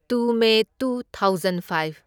Two May two thousand five.